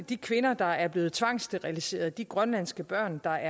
de kvinder der er blevet tvangssteriliseret og de grønlandske børn der